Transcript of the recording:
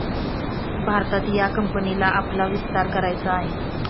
भारतात या कंपनीला आपला विस्तार करायचा आहे.